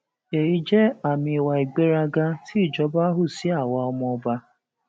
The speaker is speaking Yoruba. èyí jẹ àmì ìwà ìgbéraga tí ìjọba hù sí àwa ọmọọba